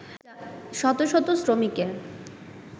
শত শত শ্রমিকের